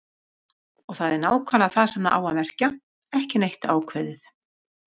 Og það er nákvæmlega það sem það á að merkja: ekki neitt ákveðið.